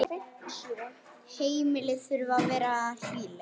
Heimili þurfa að vera hlýleg.